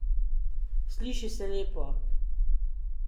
Sliši se lepo.